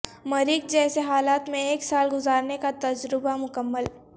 مریخ جیسےحالات میں ایک سال گزارنے کا تجربہ مکمل